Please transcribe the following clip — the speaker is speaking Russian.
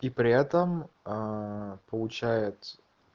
и при этом ээ получается